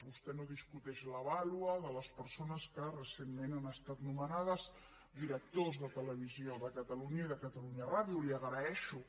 vostè no discuteix la vàlua de les persones que recentment han estat nomenades directors de televisió de catalunya i de catalunya ràdio li ho agraeixo